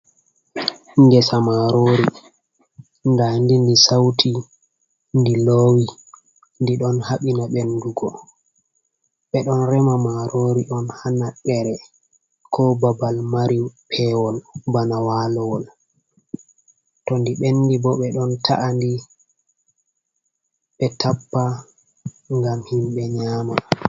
Ngesa marori nda'ndi ndi sauti, ndi loowi, ndi ɗon habina ɓendugo ɓe ɗon rema marori on haa naddere ko babal mari peeweel bana walawol to ndi ɓendi ɓo ɓe ɗon ta’andi ɓe tappa ngam himbe nyama.